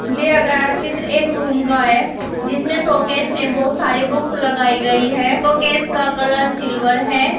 दिया गया चित्र एक रूम का है जिसमें शोकेस में बहुत सारे बुक्स लगाई गई है शोकेस का कलर सिल्वर है।